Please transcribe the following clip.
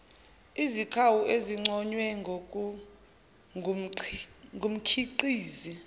izikhawu ezinconywe ngumkhiqizi